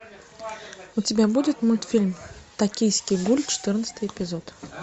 у тебя будет мультфильм токийский гуль четырнадцатый эпизод